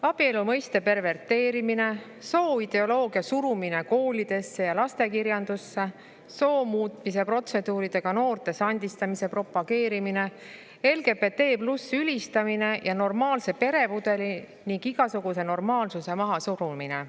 Abielu mõiste perverteerimine, sooideoloogia surumine koolidesse ja lastekirjandusse, soo muutmise protseduuridega noorte sandistamise propageerimine, LGBT+ ülistamine ning normaalse peremudeli ja igasuguse normaalsuse mahasurumine.